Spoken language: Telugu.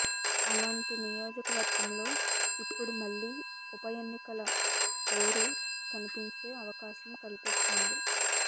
అలాంటి నియోజకవర్గంలో ఇప్పుడు మళ్లీ ఉప ఎన్నికల హోరు కనిపించే అవకాశం కనిపిస్తోంది